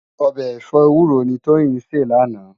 Òbè ẹfọ éwúró ni Toyin sé làná